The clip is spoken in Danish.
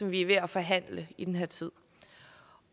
vi er ved at forhandle i den her tid